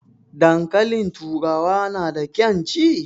Dankalin turawa na da ƙan ci?